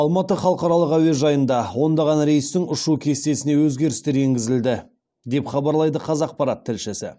алматыда халықаралық әуежайында ондаған рейстің ұшу кестесіне өзгерістер енгізілді деп хабарлайды қазақпарат тілшісі